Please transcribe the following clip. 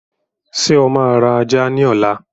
Ṣé o máa ra ajá ni ọ̀la?